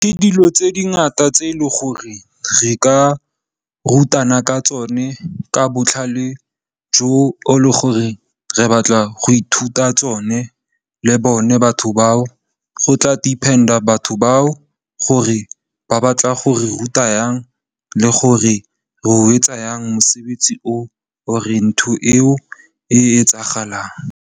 Ke dilo tse dingata tse e leng gore re ka rutana ka tsone ka botlhale jo, le gore re batla go ithuta tsone le bone batho bao, go tla depend-a batho bao gore ba batla go re ruta yang le gore re o etsa yang mosebetsi or ntho eo e etsagalang.